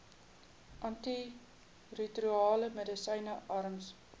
antiretrovirale medisyne arms